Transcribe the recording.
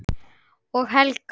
Og Helga!